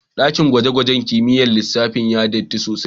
daƙin gwaje-gwajen kimiƴƴar lissafi ya yi ɗatti sosai.